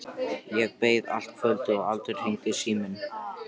Ég beið allt kvöldið og aldrei hringdi síminn.